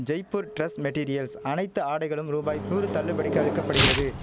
Jaipur dress materials அனைத்து ஆடைகளும் ரூபாய் நூறு தள்ளுபடிக்கு அளிக்க படுகிறது